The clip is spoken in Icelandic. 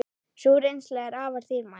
Sú reynsla er afar dýrmæt.